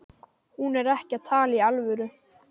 Hún er ekki að tala í alvöru.